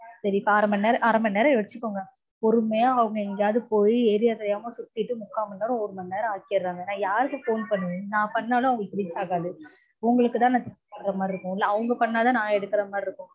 சரி அரை மணி நேரம் வச்சுக்கோங்க. பொறுமையா அவங்க எங்கேயாவது போய் area தெரியாம சுத்திட்டு முக்கால் மணி நேரம் ஒரு மணி நேரம் ஆக்கிடறாங்க. நா யாருக்கு phone பண்ணனும்? நா பண்ணாலும் அவங்களுக்கு reach ஆகாது. உங்களுக்குதா நா கூப்டற மாதிரி இருக்கும். இல்ல அவங்க பண்ணாதா நா எடுக்கற மாதிரி இருக்கும்.